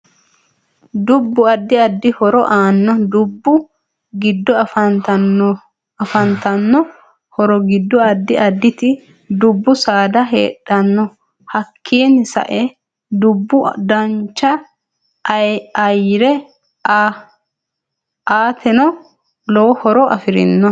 DUbbu addi addi horo aanno dubbu giddo afantanno horo giddo addi additi dubbu saada heedhano hakiinini sae dubbu dancha ayyare aateno lowo horo afirino